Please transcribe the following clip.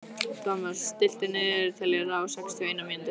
Thomas, stilltu niðurteljara á sextíu og eina mínútur.